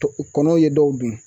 Kɔnɔw ye dɔw dun